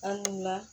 An wula